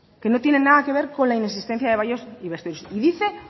que no tienen nada que ver con la inexistencia de baños y vestuarios y dice